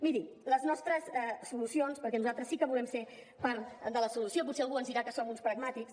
mirin les nostres solucions perquè nosaltres sí que volem ser part de la solució potser algú ens dirà que som uns pragmàtics